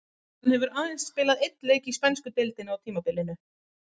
Hann hefur aðeins spilað einn leik í spænsku deildinni á tímabilinu.